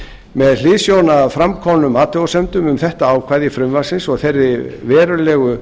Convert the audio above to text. með hliðsjón af framkomnum athugasemdum um þetta ákvæði frumvarpsins og þeirri verulegu